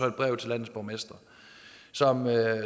et brev til landets borgmestre